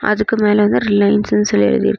அதுக்கு மேல வந்து ரிலையன்ஸ்னு சொல்லி எழுதியிருக்கு.